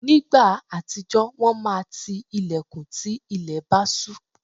Nígbà àtijọ́, wọ́n máa ti ilẹ̀kùn tí ilẹ̀ bá ṣú.